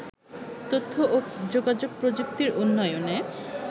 তথ্য ও যোগাযোগ প্রযুক্তির উন্নয়নে